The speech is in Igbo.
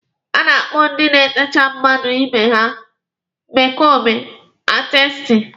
A na-akpọ ndị na-etecha mmadụ ibe ha 'mek ọọp aatisti.